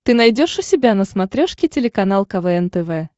ты найдешь у себя на смотрешке телеканал квн тв